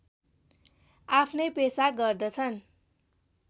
आफ्नै पेसा गर्दछन्